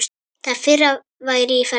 Það fyrra væri í ferli.